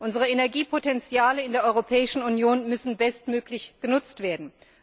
Unsere Energiepotenziale in der Europäischen Union müssen bestmöglich genutzt werden.